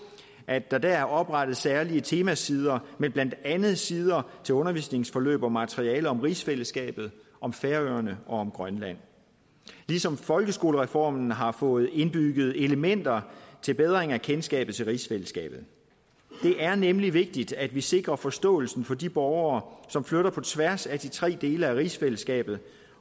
at der dér er oprettet særlige temasider med blandt andet sider til undervisningsforløb og materialer om rigsfællesskabet om færøerne og om grønland ligesom folkeskolereformen har fået indbygget elementer til bedring af kendskabet til rigsfællesskabet det er nemlig vigtigt at vi sikrer forståelsen for de borgere som flytter på tværs af de tre dele af rigsfællesskabet